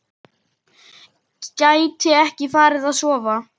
Gæti ekki farið að sofa.